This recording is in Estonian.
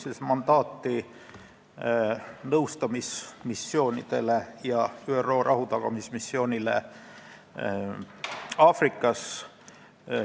Taotleme mandaati nõustamismissioonidele ja ÜRO rahutagamismissioonile Aafrikas.